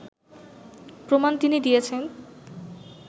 প্রমাণ তিনি দিয়েছেন